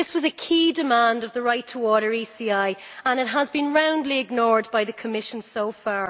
This was a key demand of the Right2Water ECI and it has been roundly ignored by the Commission so far.